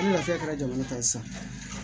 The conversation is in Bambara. Ni lafiya kɛra jamana kan ye sisan